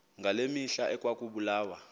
ngaloo mihla ekwakubulawa